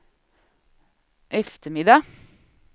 eftermiddag